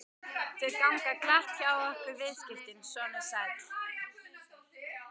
Þau ganga glatt hjá okkur viðskiptin, sonur sæll.